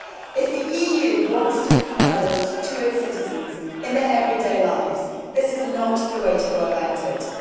If the EU wants to become relevant to its citizens in their everyday lives, this is not the way to go about it.